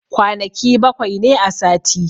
Kwanaki bakwai ne a sati.